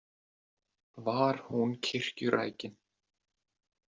Var hún kirkjurækin?